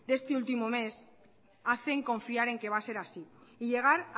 de este último mes hacen confiar en que va a ser así y llegar